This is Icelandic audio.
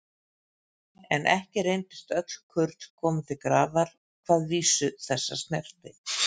En ekki reyndust öll kurl komin til grafar hvað vísu þessa snerti.